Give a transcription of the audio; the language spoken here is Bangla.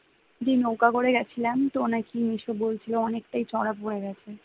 যে নৌকা করে গেছিলাম তো নাকি সে বলছিল অনেকটাই চড়া পরে গেছে